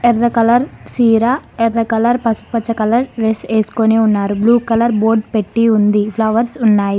ఎర్ర కలర్ చీర ఎర్ర కలర్ పసుపు కలర్ డ్రెస్ వేసుకొని ఉన్నారు బ్లూ కలర్ బోర్డ్ పెట్టి ఉంది ఫ్లవర్స్ ఉన్నాయి.